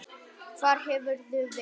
Hvar hefurðu verið?